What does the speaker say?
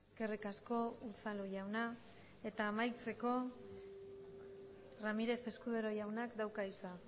eskerrik asko unzalu jauna eta amaitzeko ramírez escudero jaunak dauka hitza